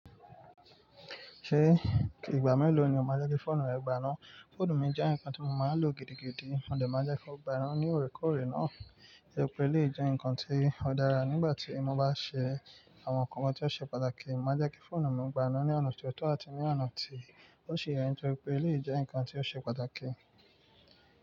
Ṣé ìgbà mélòó ni o máa jẹ́ kí fóònù rẹ gbà ná? Fóònù mi jẹ́ ǹnkan tí mo máa ń lò gidigidi, mo dẹ̀ máa jẹ́ kí ó gba ina ní òrèkóòrè náà. To je pé, elèyi jẹ́ ǹkan tí ó dára nígbà tí mo bá ṣe àwọn nǹkan tí ó ṣe pàtàkì. Mo máa jẹ́ kí fóònù mi gba iná ní ọ̀nà tí ó tọ́ àti ní ọ̀nà tí ó ṣi yẹ̀, torí pé, elèyi jẹ́ ǹkan tí ó ṣe pàtàkì.